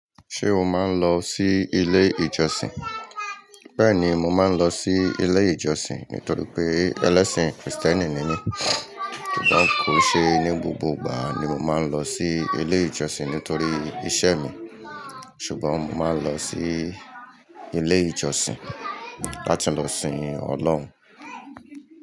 Ṣé o máa ń lọ sí ilé ìjọsìn? Bẹ́ẹ̀ni, mo máa ń lọ sí ilé ìjọsìn nítorí pé ẹlẹ́sìn Kristẹni ni mí. Kó kí n ṣe ní gbogbo ìgbà ni mo máa ń lọ sí ilé ìjọsìn nítorí iṣẹ́ mi. Ṣùgbọ́n mo máa ń lọ sí ilé ìjọsìn láti lọ sìn Ọlọ́run.